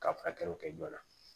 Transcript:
Ka furakɛliw kɛ joona